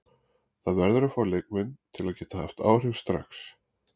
Það verður að fá leikmenn sem geta haft áhrif strax.